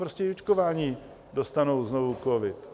Prostě i očkovaní dostanou znovu covid.